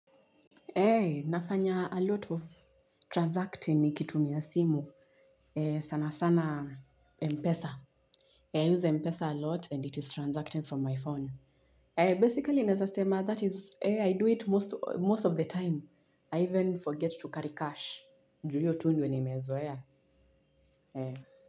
Nafanya a lot of Transacting nikitumia simu. Sana sana Mpesa I use Mpesa a lot and it is Transacting from my phone Basically naeza sema that is I do it most of the time I even forget to carry cash ju hiyo tu ndo nimezoea.